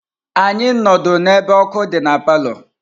Anyị nnọdụ n'ebe ọkụ dị na palọ.